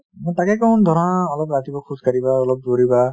মই তাকে কওঁ ধৰা অলপ ৰাতিপুৱা খোজকাঢ়িবা অলপ দৌৰিবা |